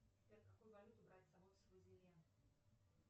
сбер какую валюту брать с собой в свазиленд